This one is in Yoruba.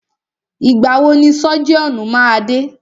Ìgbà wọ ni sọ́jíọ̀nù máa dé?